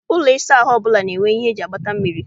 Ụlọ ịsa ahụ ọbụla na-enwe ihe eji agbata mmiri.